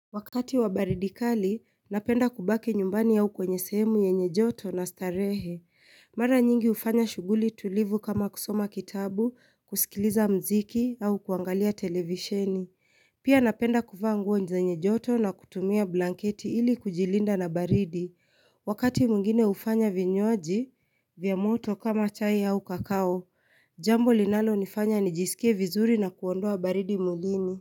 Wakati wa baridikali napenda kubaki nyumbani au kwenye sehemu yenye joto na starehe mara nyingi ufanya shuguli tulivu kama kusoma kitabu kusikiliza mziki au kuangalia televisheni pia napenda kuvaa nguo zenye joto na kutumia blanketi ili kujilinda na baridi wakati mwingine ufanya vinywji vya moto kama chai au kakao jambo linalo nifanya nijisikie vizuri na kuondoa baridi mwilini.